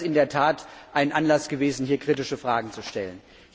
Dann wäre das in der Tat ein Anlass gewesen, hier kritische Fragen zu stellen.